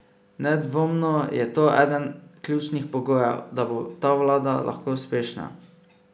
Nedvomno je to eden ključnih pogojev, da bo ta vlada lahko uspešna.